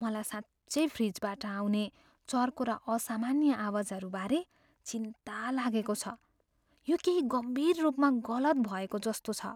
मलाई साँच्चै फ्रिजबाट आउने चर्को र असामान्य आवाजहरू बारे चिन्ता लागेको छ, यो केही गम्भीर रूपमा गलत भएको जस्तो छ।